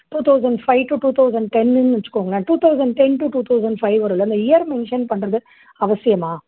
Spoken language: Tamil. two thousand five இருந்து two thousand ten ன்னு வெச்சுக்கோங்களேன். two thousand ten to two thousand five வோட அந்த year mention பண்றது அவசியமா?